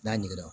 N'a ɲiginna